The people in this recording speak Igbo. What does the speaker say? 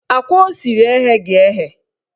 Akwa o siri egheghi eghe